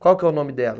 Qual que é o nome dela?